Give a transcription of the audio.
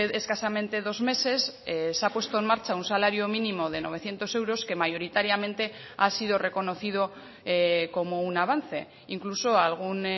escasamente dos meses se ha puesto en marcha un salario mínimo de novecientos euros que mayoritariamente ha sido reconocido como un avance incluso algún